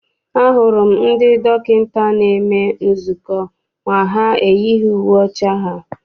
A hụrụ m ndị dọkịta na-eme nzukọ ma ha eyighị uwe ọcha ha.